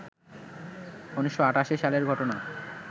১৯৮৮ সালের ঘটনা